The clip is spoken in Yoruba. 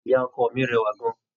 Ìyá ọkọ mi rẹwà gan-an.